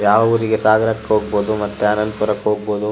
ಯಾವೂರಿಗೆ ಸಾಗರಕ್ಕೆ ಹೋಗಬಹುದು ಮತ್ತೆ ಅನಂತಪುರಕ್ಕೆ ಹೋಗಬಹುದು.